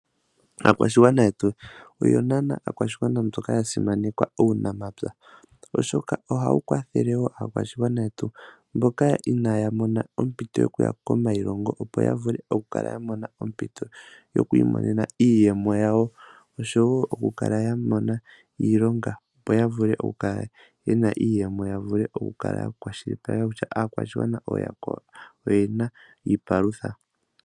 Aakwashigwana yetu oyo aakwashigwana mboka mboka inaya mona ompito okuya komailongo, opo ya vule okukala ya mona ompito yoku imonena iiyemo yawo oshowo okukala ya mona iilonga, opo ya vule okukala ye na iiyemo ya vule okukwashilipaleka kutya aakwashigwana oye na iipalutha.